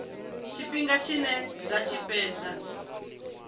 tshifhinga tshine dza tshi fhedza